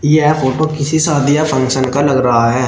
यह फोटो किसी शादी या फंक्शन का लग रहा है।